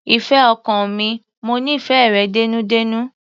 Ìfẹ́ ọkàn mi, mo nífẹ̀ẹ́ rẹ dénúdénú.